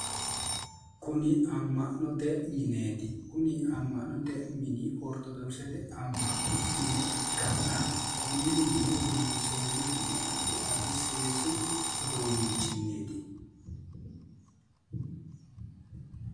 Kuni amma'note mineeti. Kuni amma'note mini ortodoksete amma'no mine ikkanna konne mine loonsoonnihu addami addi seesu uduunnichinniiti.